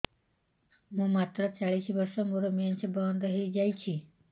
ମୁଁ ମାତ୍ର ଚାଳିଶ ବର୍ଷ ମୋର ମେନ୍ସ ବନ୍ଦ ହେଇଯାଇଛି